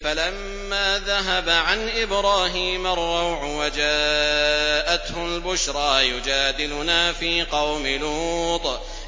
فَلَمَّا ذَهَبَ عَنْ إِبْرَاهِيمَ الرَّوْعُ وَجَاءَتْهُ الْبُشْرَىٰ يُجَادِلُنَا فِي قَوْمِ لُوطٍ